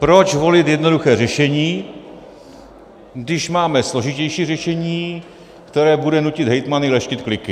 Proč volit jednoduché řešení, když máme složitější řešení, které bude nutit hejtmany leštit kliky?